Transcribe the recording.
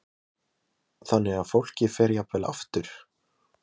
Lillý Valgerður Pétursdóttir: Þannig að fólki fer jafnvel aftur?